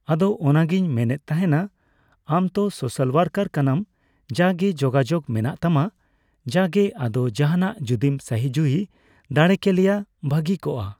ᱟᱫᱚ ᱚᱱᱟᱜᱤᱧ ᱢᱮᱱᱮᱫ ᱛᱟᱸᱦᱮᱱᱟ ᱟᱢ ᱛᱚ ᱥᱳᱥᱟᱞ ᱳᱟᱨᱠᱟᱨ ᱠᱟᱱᱟᱢ ᱡᱟᱜᱮ ᱡᱳᱜᱟᱡᱳᱜ ᱢᱮᱱᱟᱜ ᱛᱟᱢᱟ ᱡᱟᱜᱜᱮ ᱟᱫᱚ ᱡᱟᱸᱦᱟᱱᱟᱜ ᱡᱚᱫᱤᱢ ᱥᱟᱦᱤᱡᱩᱦᱤ ᱫᱟᱲᱮ ᱠᱮᱞᱮᱭᱟ ᱵᱷᱟᱜᱤ ᱠᱚᱜᱼᱟ ᱾